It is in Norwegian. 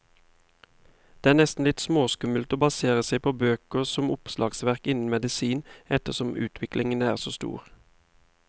Det er nesten litt småskummelt å basere seg på bøker som oppslagsverk innen medisin, ettersom utviklingen er så stor.